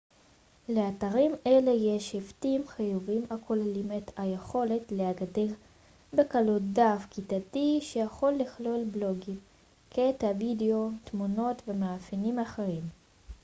לאתרים אלה יש היבטים חיוביים הכוללים את היכולת להגדיר בקלות דף כיתתי שיכול לכלול בלוגים קטעי וידאו תמונות ומאפיינים אחרים